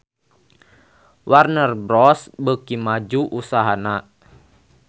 Warner Bros beuki maju usahana